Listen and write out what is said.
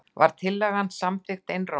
Var tillagan samþykkt einróma.